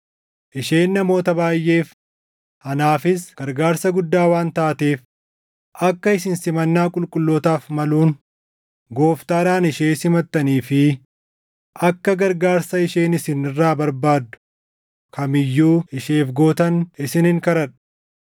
Isheen namoota baayʼeef, anaafis gargaarsa guddaa waan taateef akka isin simannaa qulqullootaaf maluun Gooftaadhaan ishee simattanii fi akka gargaarsa isheen isin irraa barbaaddu kam iyyuu isheef gootan isinin kadhadhaa.